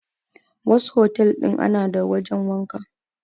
A wasu otel din ana da wajen wanka.